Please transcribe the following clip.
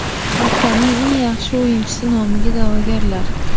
Haftaning eng yaxshi o‘yinchisi nomiga da’vogarlar: !